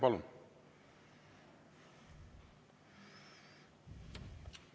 Palun!